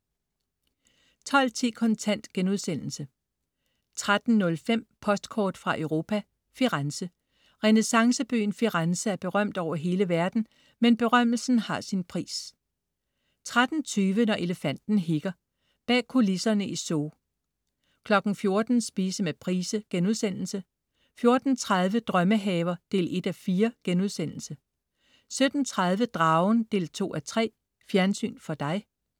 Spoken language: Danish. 12.10 Kontant* 13.05 Postkort fra Europa: Firenze. Renæssancebyen Firenze er berømt over hele verden, men berømmelsen har sin pris 13.20 Når elefanten hikker. Bag kulisserne i zoo 14.00 Spise med Price* 14.30 Drømmehaver 1:4* 17.30 Dragen 2:3. Fjernsyn for dig